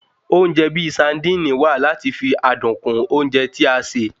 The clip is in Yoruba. Oúnjẹ bíi saandíìnì wa lati fi adun kún oúnjẹ tí a ṣe